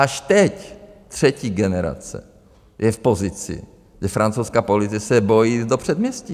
Až teď třetí generace je v pozici, kdy francouzská policie se bojí jít do předměstí.